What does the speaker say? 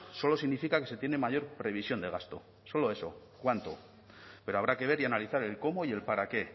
solo significa que se tiene mayor previsión de gasto solo eso cuánto pero habrá que ver y analizar el cómo y el para qué